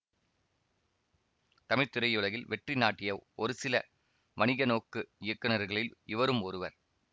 தமிழ் திரையுலகில் வெற்றி நாட்டிய ஒருசில வணிக நோக்கு இயக்குனர்களில் இவரும் ஒருவர்